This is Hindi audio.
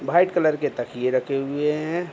व्हाइट कलर के तकिये रखे हुए है।